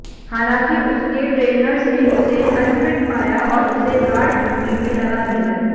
हालांकि उसके ट्रेनर्स ने उसे अनफिट पाया और उसे गार्ड ड्यूटी में लगा दिया